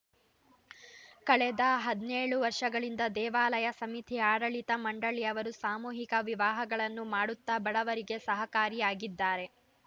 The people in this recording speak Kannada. ಕಳೆದ ಹದಿನೇಳು ವರ್ಷಗಳಿಂದ ದೇವಾಲಯ ಸಮಿತಿ ಆಡಳಿತ ಮಂಡಳಿಯವರು ಸಾಮೂಹಿಕ ವಿವಾಹಗಳನ್ನು ಮಾಡುತ್ತಾ ಬಡವರಿಗೆ ಸಹಕಾರಿಯಾಗಿದ್ದಾರೆ